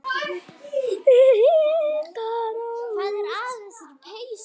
Inga Rós.